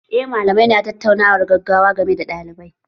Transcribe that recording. Eh malamai na tattaunawar gaggawa game da ɗalibai